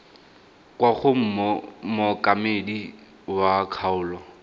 kwa go mookamedi wa kgaolo